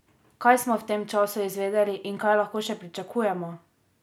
Kaj smo v tem času izvedeli in kaj lahko še pričakujemo?